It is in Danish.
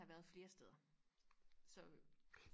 have været flere steder så øh